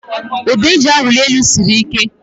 Ụdọ a eji awụli elu siri ike